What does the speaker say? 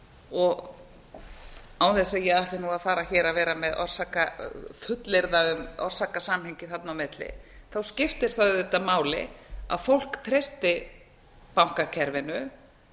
og án þess að ég ætli að fara hér að vera með að fullyrða um orsakasamhengi þarna á milli skiptir það auðvitað máli að fólk treysti bankakerfinu